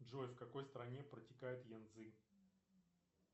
джой в какой стране протекает янцзы